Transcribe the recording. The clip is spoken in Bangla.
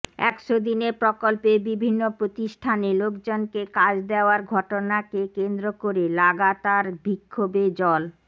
একশো দিনের প্রকল্পে বিভিন্ন প্রতিষ্ঠানে লোকজনকে কাজ দেওয়ার ঘটনাকে কেন্দ্র করে লাগাতার বিক্ষোভে জল